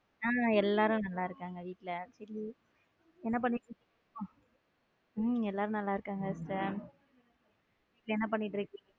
ஆமா எல்லாரும் நல்லா இருக்காங்க வீட்டுல என் பண்ணிட்டு இருக்கீங் உம் எல்லாரும் நல்லா இருக்காங்க என்ன பண்ணிட்டு இருக்கீங்க.